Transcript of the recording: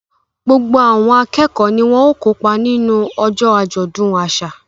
Gbogbo àwọn akẹ́kọ̀ọ́ ni wọ́n ó kópa nínú ọjọ́ àjọ̀dún àṣà